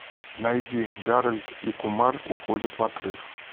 найди гарольд и кумар уходят в отрыв